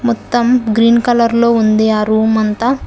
మొత్తం green colour లో ఉంది ఆ రూమ్ అంతా.